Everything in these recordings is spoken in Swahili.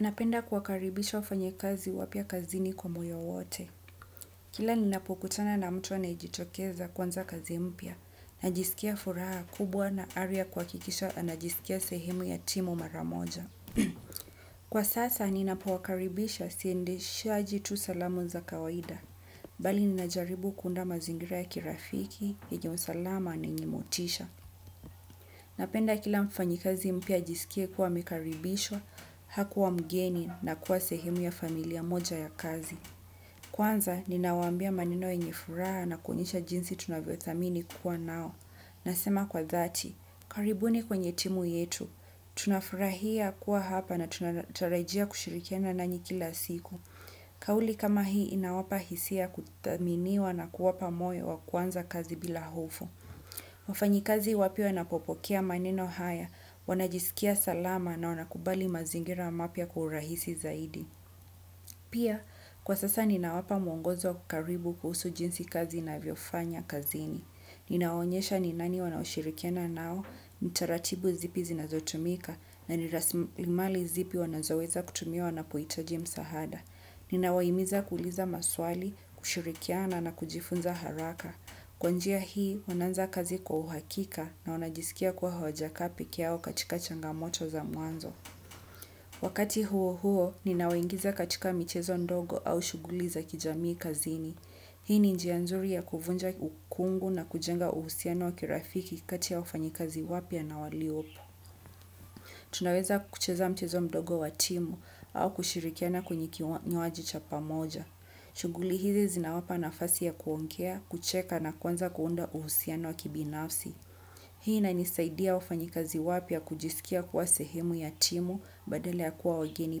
Napenda kuwakaribisha wafanyakazi wapya kazini kwa moyo wote. Kila ninapo kutana na mtu anajitokeza kwanza kazi mpya, najisikia furaha kubwa na aria kuakikisha anajisikia sehemu ya timu maramoja. Kwa sasa ninapo wakaribisha siendeshajitu salamu za kawaida, bali ninajaribu kundama zingira ya kirafiki, hijonsalama na nyimotisha. Napenda kila mfanyi kazi mpya ajisike kuwa amekaribishwa hakuwa mgeni na kuwa sehemu ya familia moja ya kazi. Kwanza, ninawambia maneno yenye furaha na kwenisha jinsi tunavyo thamini kuwa nao. Nasema kwa thati, karibuni kwenye timu yetu. Tunafurahia kuwa hapa na tunataraijia kushirikiana nanyi kila siku. Kauli kama hii inawapa hisia kutaminiwa na kuwapa moyo wa kwanza kazi bila hofo. Wafanyi kazi wapya wanapopokea maneno haya, wanajisikia salama na wanakubali mazingira mapya kuhurahisi zaidi. Pia, kwa sasa ninawapa mwongozo kukaribu kuhusu jinsi kazi inavyofanya kazini. Ninaonyesha ni nani wanashirikiana nao, ni taratibu zipi zinazotumika, na ni rasimali zipi wanazoweza kutumia wanapuitaji msahada. Ninawaimiza kuliza maswali, kushirikiana na kujifunza haraka. Kwa njia hii, wananza kazi kwa uhakika na wanajisikia kwa hawajakaa peke yao katika changamoto za muanzo. Wakati huo huo, ninawaingiza katika mchezo ndogo au shuguli za kijamii kazini. Hii ni njia nzuri ya kuvunja ukungu na kujenga uhusiano wa kirafiki kati ya ufanyi kazi wapya na waliopo. Tunaweza kucheza mchezo ndogo watimu au kushirikiana kwenye kinywajicha pamoja. Shuguli hizi zinawapa nafasi ya kuongea, kucheka na kwanza kuunda uhusiano wa kibinafsi. Hii nanisaidia ufanyi kazi wapia kujisikia kuwa sehemu ya timu badalea kuwa wageni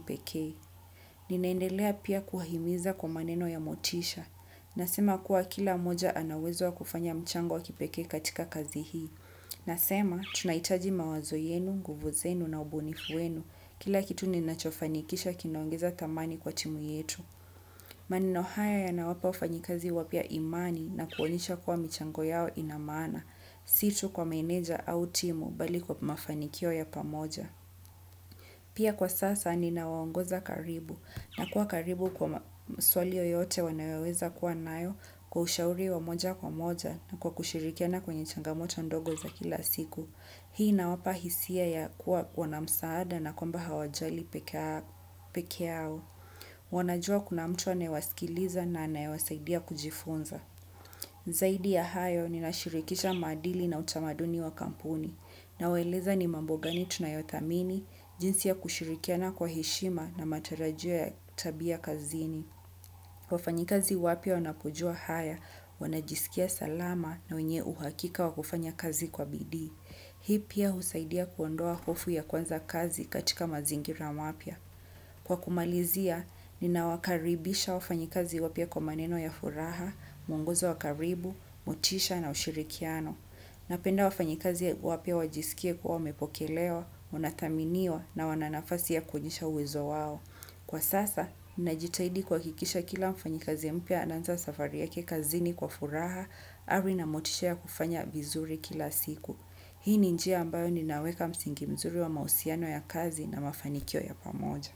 peke. Ninaendekea pia kuwahimiza kwa maneno ya motisha nasema kuwa kila mmoja ana uwezo wa kufanya mchango wakipekee katika kazi hii. Nasema tunaitaji mawazoyenu, nguvu zenu na ubunifu wenu. Kila kitu ninacho fanikisha kinaongeza thamani kwa timu yetu. Maneno haya ya na wapa ufanyikazi wapya imani na kuonesha kuwa michango yao inamana, situ kwa menedja au timu bali kwa mafanikio ya pamoja. Pia kwa sasa ni na waongoza karibu na kuwa karibu kwa swal yoyote wanaweweza kuwa nayo kwa ushauri wa moja kwa moja na kwa kushirikiana kwenye changamoto ndogo za kila siku. Hii na wapa hisia ya kuwa kuwana msaada na kwamba hawajali peke yao. Wanajua kuna mtu anaewaskiliza na anaewasaidia kujifunza. Zaidi ya hayo ni nashirikisha madili na utamaduni wa kampuni. Nawaeleza ni mambo gani tunayothamini jinsi ya kushirikiana kwa heshima na matarajio ya tabia kazini. Wafanyikazi wapya wanapujua haya wanajisikia salama na wenye uhakika wakufanya kazi kwa bidii. Hii pia husaidia kuondoa hofu ya kwanza kazi katika mazingira mapya. Kwa kumalizia, nina wakaribisha wafanyikazi wapya kwa maneno ya furaha, muonguzo wakaribu, motisha na ushirikiano. Napenda wafanyi kazi wapya wajiskie kuwa wamepokelewa wanathaminiwa na wana nafasi ya kuonyesha uwezo wao. Kwa sasa, ninajitahidi kwa kikisha kila mfanyi kazi mpya ananza safari ya kekazini kwa furaha, ari na motishia kufanya vizuri kila siku. Hii ni njia ambayo ni aweka msingi mzuri wa mausiano ya kazi na mafanikio ya pamoja.